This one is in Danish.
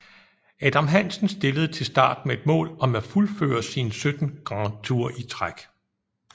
Adam Hansen stillede til start med et mål om at fuldføre sin 17 Grand Tour i træk